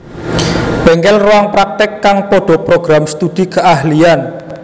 Bengkel Ruang praktek kang podo Program Studi Keahlian